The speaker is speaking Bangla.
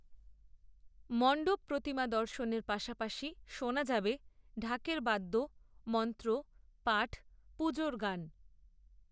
মণ্ডপপ্রতিমা দর্শনের পাশাপাশি শোনা যাবে ঢাকের বাদ্য, মন্ত্র, পাঠ, পুজোর গান